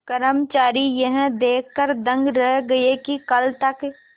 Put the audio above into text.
कर्मचारी यह देखकर दंग रह गए कि कल तक